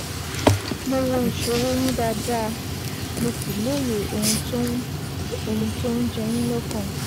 Mo wo ìṣòro yín dáadáa, mo sì lóye ohun tó ń ohun tó ń jẹ yín lọ́kàn